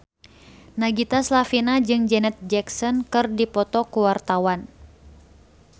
Nagita Slavina jeung Janet Jackson keur dipoto ku wartawan